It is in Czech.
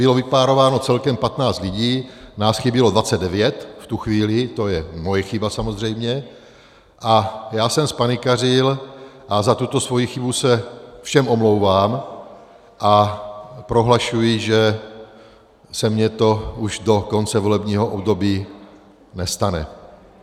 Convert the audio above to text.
Bylo vypárováno celkem 15 lidí, nás chybělo 29 v tu chvíli, to je moje chyba samozřejmě, a já jsem zpanikařil a za tuto svoji chybu se všem omlouvám a prohlašuji, že se mi to už do konce volebního období nestane.